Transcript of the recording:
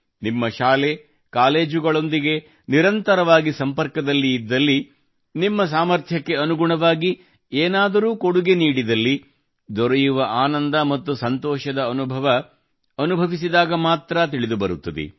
ನಿಮ್ಮ ಶಾಲೆ ಕಾಲೇಜುಗಳೊಂದಿಗೆ ನಿರಂತರವಾಗಿ ಸಂಪರ್ಕದಲ್ಲಿ ಇದ್ದಲ್ಲಿ ನಿಮ್ಮ ಸಾಮರ್ಥ್ಯಕ್ಕೆ ಅನುಗುಣವಾಗಿ ಏನಾದರೂ ಕೊಡುಗೆ ನೀಡಿದಲ್ಲಿ ದೊರೆಯುವ ಆನಂದ ಮತ್ತು ಸಂತೋಷದ ಅನುಭವ ಅನುಭವಿಸಿದಾಗ ಮಾತ್ರಾ ತಿಳಿದುಬರುತ್ತದೆ